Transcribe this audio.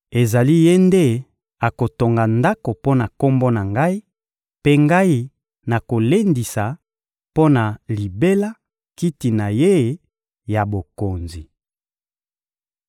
Ezali ye nde akotonga Ndako mpo na Kombo na Ngai, mpe Ngai nakolendisa mpo na libela kiti na ye ya bokonzi.